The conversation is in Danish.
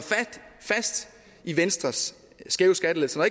fast i venstres skæve skattelettelser